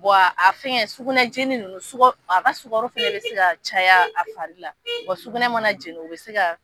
Bɔn a fɛnkɛ sugunɛ jeni ninnu, sukaro a ka suka fana bɛ se ka caya a fari la wa sugunɛ mana jɛni o bɛ se ka.